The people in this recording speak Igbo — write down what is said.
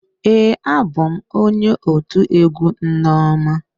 Ee, abụ m onye otu egwu nneoma.